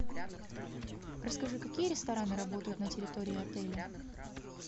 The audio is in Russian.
расскажи какие рестораны работают на территории отеля